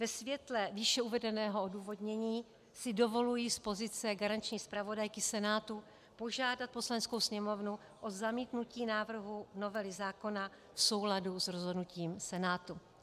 Ve světle výše uvedeného odůvodnění si dovoluji z pozice garanční zpravodajky Senátu požádat Poslaneckou sněmovnu o zamítnutí návrhu novely zákona v souladu s rozhodnutím Senátu.